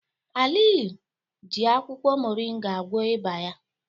Aliyu ji akwukwo moringa gwọọ ịba ya.